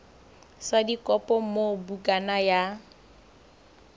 sa dikopo moo bukana ya